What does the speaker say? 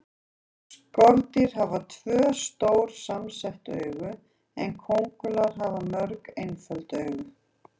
Skordýr hafa tvö, stór samsett augu en kóngulær hafa mörg, einföld augu.